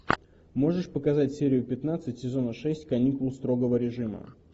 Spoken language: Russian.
можешь показать серию пятнадцать сезона шесть каникулы строгого режима